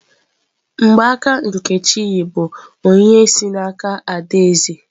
Mgbaaka nkechi yi bụ onyinye si n'aka adaeze.